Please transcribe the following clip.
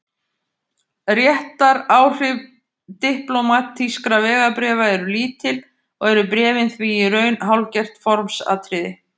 Réttaráhrif diplómatískra vegabréfa eru lítil og eru bréfin því í raun hálfgert formsatriði.